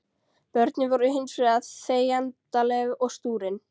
Börnin voru hins vegar þegjandaleg og stúrin.